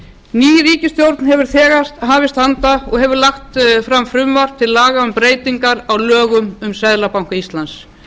ný ríkisstjórn hefur þegar hafist handa og hefur lagt fram frumvarp til laga um breytingar á lögum um seðlabanka íslands